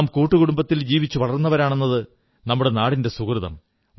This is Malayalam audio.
നാം കൂട്ടുകുടുംബത്തിൽ ജീവിച്ചു വളർന്നവരാണെന്നത് നമ്മുടെ നാട്ടിന്റെ സുകൃതം